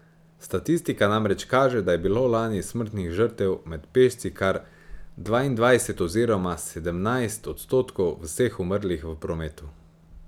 Statistika namreč kaže, da je bilo lani smrtnih žrtev med pešci kar dvaindvajset oziroma sedemnajst odstotkov vseh umrlih v prometu.